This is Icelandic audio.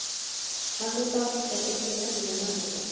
hannibal er engin venjuleg mannæta